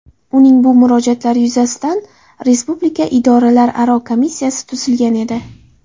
Uning bu murojaatlari yuzasidan Respublika idoralararo komissiyasi tuzilgan edi .